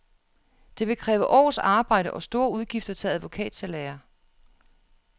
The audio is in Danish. Det vil kræve års arbejde og store udgifter til advokatsalærer.